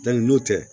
n'o tɛ